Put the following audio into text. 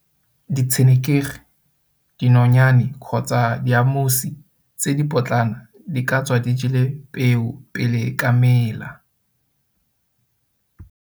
Ditshenekegi, dinonyane kgotsa diamusi tse di potlana di ka tswa di jele peo pele e ka mela.